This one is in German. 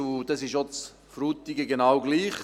Dies ist in Frutigen genau gleich.